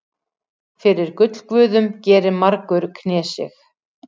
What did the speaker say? Fyrir gullguðum gerir margur knésig.